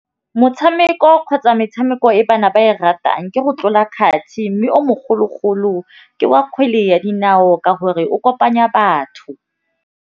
Motšhameko kgotsa metšhameko e bana ba e ratang ke go tlola kgati mme o mogologolo ke wa kgwele ya dinao ka gore o kopanya batho.